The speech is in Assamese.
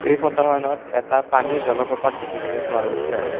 এই ফটোখনত এটা পানীৰ জলপ্ৰপাত দেখিবলৈ পোৱা গৈছে।